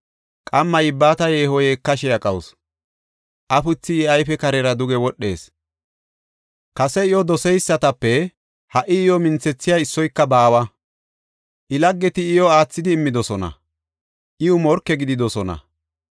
Qamma yibbata yeeho yeekashe aqawusu; afuthi I ayfe karera duge wodhees. Kase iyo doseysatape ha77i iyo minthethiya issoyka baawa. I laggeti iyo aathidi immidosona; iw morke gididosona.